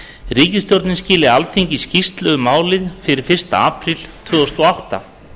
ríkisstjórnin skili alþingi skýrslu um málið fyrir fyrsta apríl tvö þúsund og átta